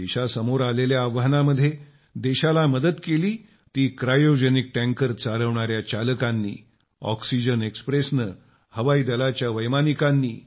देशासमोर आलेल्या आव्हानामध्ये देशाला मदत केली ती क्रायोजेनिक टँकर चालविणाया चालकांनी ऑक्सिजन एक्सप्रेसने हवाई दलाच्या वैमानिकांनी